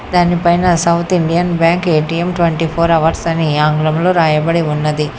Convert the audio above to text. దానిపైన South Indian Bank ATM twenty four hours అని ఆంగ్లంలో రాయబడి ఉన్నది.